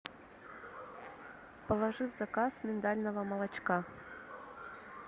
положи в заказ миндального молочка